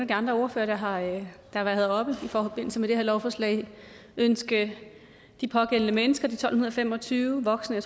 de andre ordførere der har været heroppe i forbindelse med det her lovforslag ønske de pågældende mennesker de tolv fem og tyve voksne